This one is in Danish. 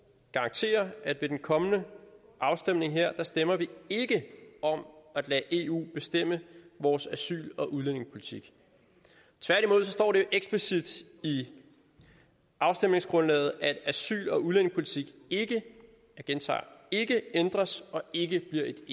garantere at ved den kommende afstemning her stemmer vi ikke om at lade eu bestemme vores asyl og udlændingepolitik tværtimod står det jo eksplicit i afstemningsgrundlaget at asyl og udlændingepolitik ikke jeg gentager ikke ændres og ikke